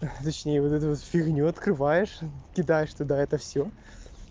точнее вот эту вот фигню открываешь кидаешь туда это всё